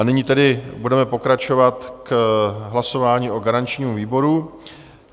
A nyní tedy budeme pokračovat k hlasování o garančním výboru.